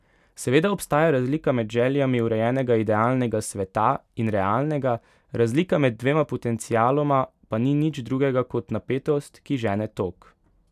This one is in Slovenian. Seveda obstaja razlika med željami urejenega idealnega sveta in realnega, razlika med dvema potencialoma pa ni nič drugega kot napetost, ki žene tok.